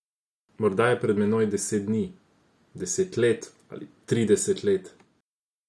Morda je pred menoj deset dni, deset let ali trideset let.